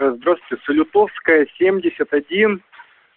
здравствуйте салютовская семьдесят один